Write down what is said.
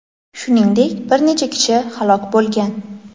Shuningdek, bir necha kishi halok bo‘lgan.